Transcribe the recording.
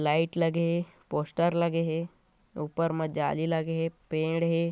Light लगे हे poster लगे हे ऊपर मा जाली लगे हे पेड़ हे।